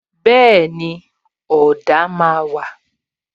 Bẹẹni, ọ̀dà máa wà